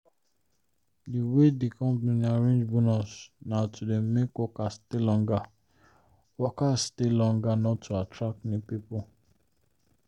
the way the company arrange bonus na to make workers stay longer workers stay longer not to attract new people.